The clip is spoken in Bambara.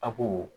A ko